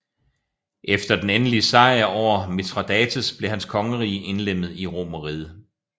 Efter den endelige sejr over Mithradates blev hans kongerige indlemmet i Romerriget